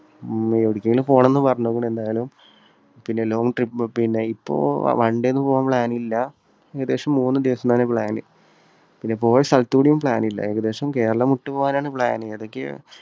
മ്ഹ് എവിടേയക്കെങ്കിലും പോകണമെന്ന് പറഞ്ഞിരിക്കുന്നു എന്തായാലും. പിന്നെ long trip. ഇപ്പോ one day ഒന്നും പോകാൻ plan ല്ല. ഏകദേശം മൂന്നുദിവസം തന്നെയാണ് plan. പിന്നെ പോയ സ്ഥലത്തുകൂടിയും plan ല്ല. ഏകദേശം കേരളം വിട്ടുപോകാനാണ് plan. ഏതൊക്കെയോ